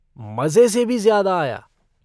मज़े से भी ज़्यादा आया।